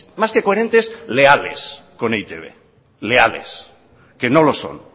más que coherentes leales con e i te be leales que no lo son